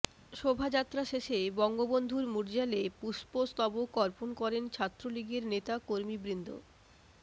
শোভাযাত্রা শেষে বঙ্গবন্ধুর মুর্যালে পুষ্পস্তবক অর্পণ করেন ছাত্রলীগের নেতাকর্মীবৃন্দ